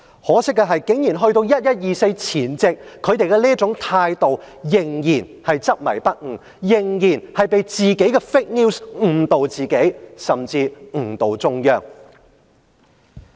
可惜的是，在"十一二四"前夕，執政者仍然是這種態度執迷不悟，仍然被自己的 fake news 誤導，甚至誤導中央。